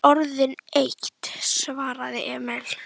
Hún er orðin eitt, svaraði Emil.